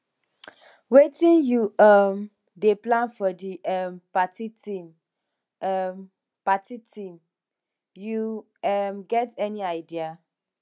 wetin you um dey plan for di um party theme um party theme you um get any idea